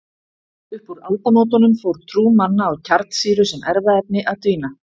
Upp úr aldamótunum fór trú manna á kjarnsýru sem erfðaefni að dvína.